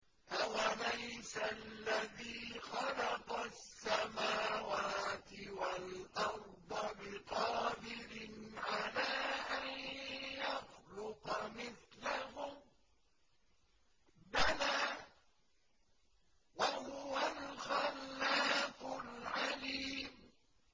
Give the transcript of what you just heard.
أَوَلَيْسَ الَّذِي خَلَقَ السَّمَاوَاتِ وَالْأَرْضَ بِقَادِرٍ عَلَىٰ أَن يَخْلُقَ مِثْلَهُم ۚ بَلَىٰ وَهُوَ الْخَلَّاقُ الْعَلِيمُ